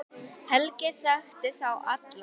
Helgi þekkti þá alla.